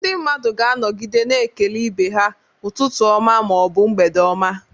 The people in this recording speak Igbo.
Ndị mmadụ ga-anọgide na-ekele ibe ha "Ụtụtụ ọma" ma ọ bụ "mgbede oma."